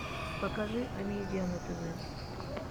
покажи амедиа на тв